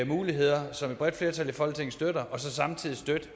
muligheder som et bredt flertal i folketinget støtter og så samtidig støtter et